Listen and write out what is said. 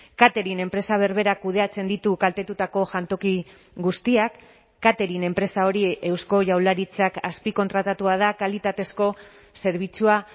catering enpresa berberak kudeatzen ditu kaltetutako jantoki guztiak catering enpresa hori eusko jaurlaritzak azpikontratatua da kalitatezko zerbitzua